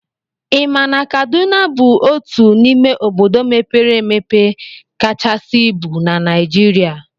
I ma na Kaduna bụ otu n'ime obodo mepere emepe kachasị ibu na Naijiria?